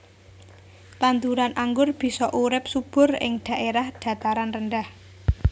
Tanduran anggur bisa urip subur ing dhaèrah dhataran rendah